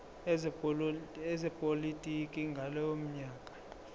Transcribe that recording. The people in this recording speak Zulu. ezepolitiki ngalowo nyaka